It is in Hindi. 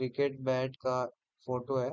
क्रिकेट बैट का फोटो है।